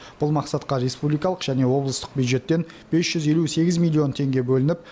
бұл мақсатқа республикалық және облыстық бюджеттен бес жүз елу сегіз миллион теңге бөлініп